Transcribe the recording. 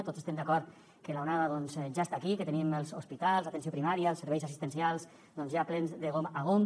tots estem d’acord que l’onada doncs ja està aquí i que tenim els hospitals l’atenció primària els serveis assistencials doncs ja plens de gom a gom